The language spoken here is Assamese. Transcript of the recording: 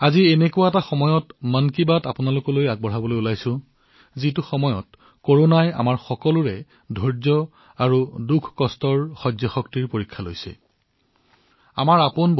আজি মই এনে এক সময়ত আপোনালোকৰ সৈতে মন কী বাতত উপস্থিত হৈছো যত আমাৰ সকলোৰে ধৈৰ্য কৰোনাই আমাৰ সকলোৰে দুখকষ্ট সহ্য কৰাৰ সীমা পৰীক্ষা কৰি আছে